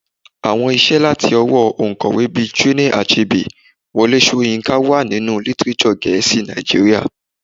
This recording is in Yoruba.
Àwọn iṣẹ́ láti ọwọ́ oǹkọ̀wé bíi Chinua Achebe, Wole Soyinka wà nínú lítírésọ̀ gẹ̀ẹ́sì Nàìjíríà.